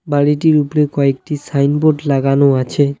বাড়িটির উপরে কয়েকটি সাইনবোর্ড লাগানো আছে।